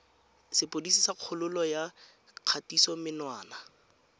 sepodisi sa kgololo ya kgatisomenwa